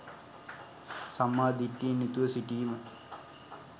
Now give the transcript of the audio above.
සම්මා දිට්ඨියෙන් යුතුව සිටීම